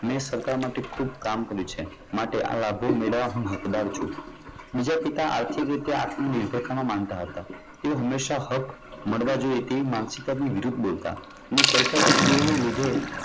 મેં સરકાર માટે ખૂબ કામ કર્યું છે. માટે આ લાભો મેળવવા હું હકદાર છું. બીજા પિતા આર્થિક રીતે આત્મ નિર્ભરતામાં માનતા હતા. તેઓ હંમેશાં હક મળવા જોઈએ. તેવી માનસિકતાની વિરુદ્ધ બોલતા. ને કહેતા કે તેઓની લીધે